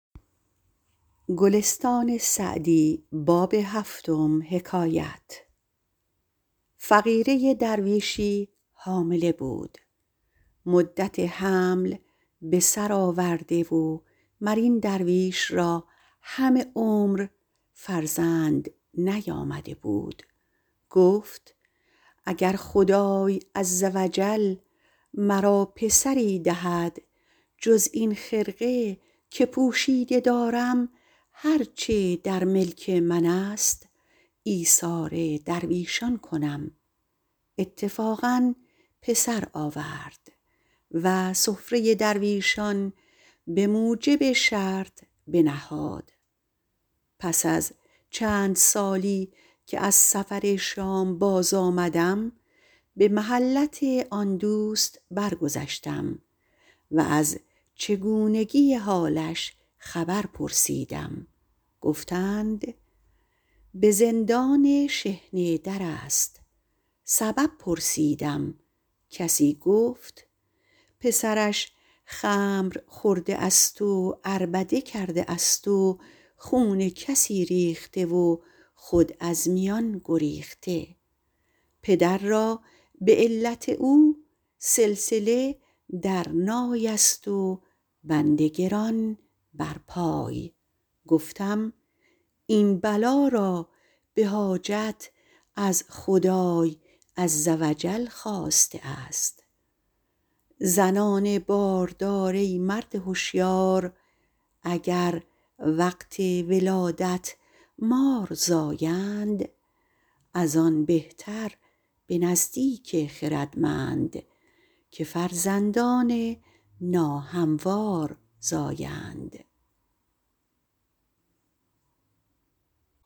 فقیره درویشی حامله بود مدت حمل بسر آورده و مر این درویش را همه عمر فرزند نیامده بود گفت اگر خدای عز و جل مرا پسری دهد جز این خرقه که پوشیده دارم هر چه در ملک من است ایثار درویشان کنم اتفاقا پسر آورد و سفره درویشان به موجب شرط بنهاد پس از چند سالی که از سفر شام باز آمدم به محلت آن دوست برگذشتم و از چگونگی حالش خبر پرسیدم گفتند به زندان شحنه در است سبب پرسیدم کسی گفت پسرش خمر خورده است و عربده کرده است و خون کسی ریخته و خود از میان گریخته پدر را به علت او سلسله در نای است و بند گران بر پای گفتم این بلا را به حاجت از خدای عز و جل خواسته است زنان باردار ای مرد هشیار اگر وقت ولادت مار زایند از آن بهتر به نزدیک خردمند که فرزندان ناهموار زایند